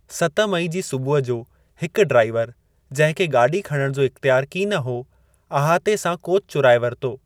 सत मई जी सुबुह जो हिकु ड्राइवर जंहिं खे गाॾी खणणु जो इख़्तियारु कीन हो, अहाते सां कोचु चुराए वरितो।